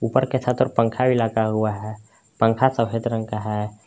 ऊपर के छत पंखा भी लगा हुआ है पंखा सफेद रंग का है।